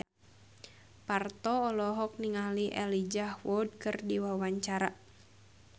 Parto olohok ningali Elijah Wood keur diwawancara